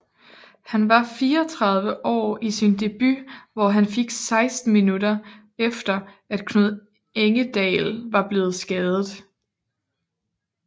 Han var 34 år i sin debut hvor han fik 16 minuter efter at Knud Engedal var blevet skadet